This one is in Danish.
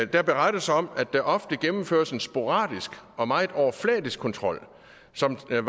der berettes om at der ofte gennemføres en sporadisk og meget overfladisk kontrol som er